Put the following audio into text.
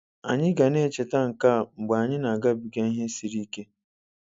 Anyị ga na echeta nke a mgbe anyị na-agabiga ihe isi ike.